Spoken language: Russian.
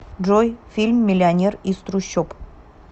джой фильм миллионер из трущоб